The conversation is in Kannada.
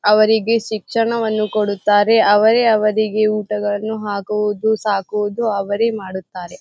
ಅವರಿಗೆ ಶಿಕ್ಷಣವನ್ನು ಕೊಡುತ್ತಾರೆ. ಅವರೇ ಅವರಿಗೆ ಊಟವನ್ನು ಹಾಕುವುದು ಸಾಕುವುದು ಅವರೇ ಮಾಡುತ್ತಾರೆ.